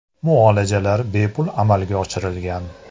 Muolajalar bepul amalga oshirilgan.